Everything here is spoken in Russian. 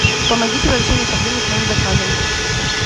помогите в разрешении проблемы с моим заказом